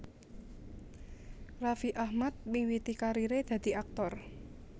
Raffi Ahmad miwiti kariré dadi aktor